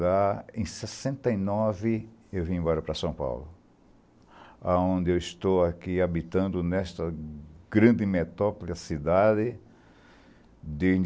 Lá, em sessenta e nove, eu vim embora para São Paulo, onde estou aqui habitando, nesta grande metópola cidade desde